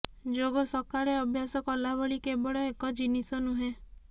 ଯୋଗ ସକାଳେ ଅଭ୍ୟାସ କଲାଭଳି କେବଳ ଏକ ଜିନିଷ ନୁହେଁ